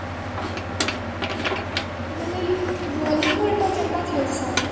ବେଲେ ଭଲିବଲ୍ ଟା କେନ୍ତା ଖେଲସନ୍?